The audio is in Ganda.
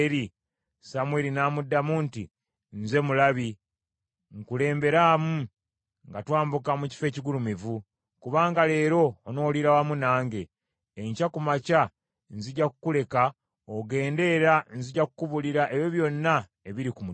Samwiri n’amuddamu nti, “Nze mulabi, nkulemberaamu nga twambuka mu kifo ekigulumivu, kubanga leero onooliira wamu nange, enkya ku makya nzija kukuleka ogende era nzija kukubuulira ebyo byonna ebiri ku mutima gwo.